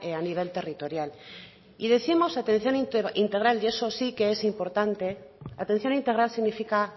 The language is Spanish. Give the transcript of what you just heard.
a nivel territorial y décimos atención integral y eso sí que es importante atención integral significa